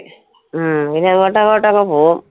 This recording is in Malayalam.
ഹും പിന്നെ അങ്ങോട്ടങ്ങോട്ട് അങ്ങ് പോകും.